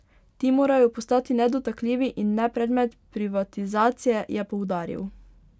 Ti morajo postati nedotakljivi in ne predmet privatizacije, je poudaril.